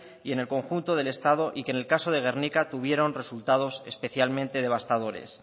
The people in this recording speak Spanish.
y en el conjunto del estado y que en el caso de gernika tuvieron resultados especialmente devastadores